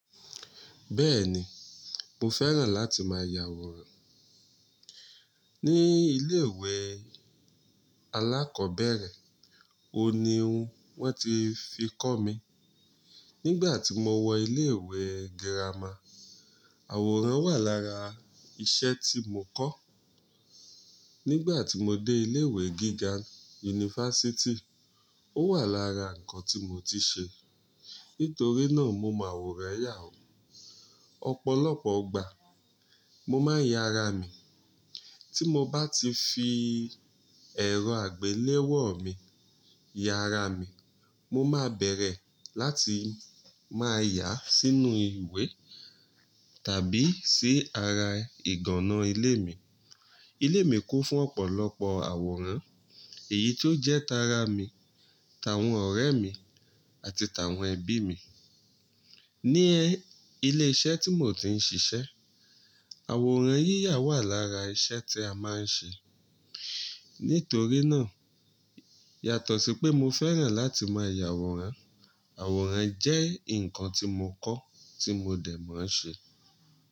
Bẹ́ẹ̀ ni, mo fẹ́ràn láti máa ya àwòrán. Ní ilé ìwé alákọ̀ọ́bẹ̀rẹ̀, òní ohun wọ́n ti fi kọ́ mi. Nígbà tí mo wọ ilé ìwé girama, àwòrán wà lára iṣẹ́ tí mo kọ́. Nígbà tí mo dé ilé ìwé gíga yunifásítì, ó wà lára nǹkan tí mo ti ṣe. Nítorí náà mo máa àwòrán yà ó. Ọ̀pọ̀lọpọ̀ ìgbà mo máa ń ya ara mi. Tí mo bá ti fi ẹ̀rọ àgbéléwò mi ya ara mi, mo máa bẹ̀rẹ̀ láti máa yà á sínú ìwé tàbí sí ara ìgànná ilé mi. Ilé mi kún fún ọ̀pọ̀lọpọ̀ àwòrán èyí tó jẹ́ ta ara mi, tàwọn ọ̀rẹ́ mi àti tàwọn ẹbí mi. Ní ilé iṣẹ́ tí mò ń ti ṣiṣẹ́, àwòrán yíyà wà lára iṣẹ́ tí a máa ń ṣe. Nítorí náà yàtọ̀ sí pé mo fẹ́ràn láti máa ya àwòrán, àwòrán jẹ́ nǹkan tí mo kọ́ tí mo dẹ̀ mọ ṣe.